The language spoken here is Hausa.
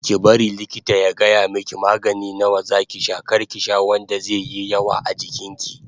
Ki bari likita ya gaya miki magani nawa zaki sha kar ki sha wanda zaiyi yawa a jikin ki